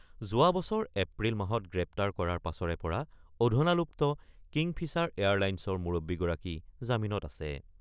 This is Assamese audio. যোৱা বছৰ এপ্ৰিল মাহত গ্ৰেপ্তাৰ কৰাৰ পাছৰে পৰা অধুনালুপ্ত কিংফিচাৰ এয়াৰ লাইন্ছৰ মুৰব্বীগৰাকী জামিনত আছে।